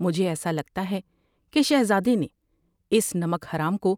مجھے ایسا لگتا ہے کہ شہزادے نے اس نمک حرام کو